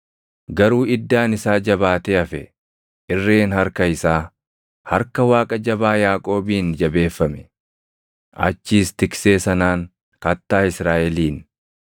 Garuu iddaan isaa jabaatee hafe; irreen harka isaa, harka Waaqa Jabaa Yaaqoobiin jabeeffame. Achiis Tiksee sanaan, Kattaa Israaʼeliin,